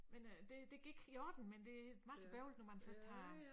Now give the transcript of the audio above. Men øh de det gik i orden men det masse bøvlet når man først har